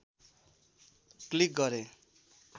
click गरे